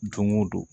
Don o don